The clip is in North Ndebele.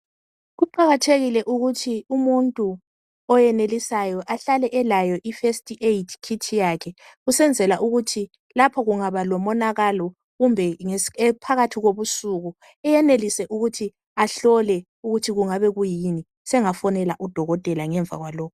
Kuqakathekile ukuthi umuntu oyenelisayo ahlale elayo ifirst aid kit yakhe kusenzela ukuthi lapho kungaba lomonakalo kumbe phakathi kobusuku ayenelise ukuthi ahlole ukuthi kuyini sengafonela udokotela ngemva kwalokho.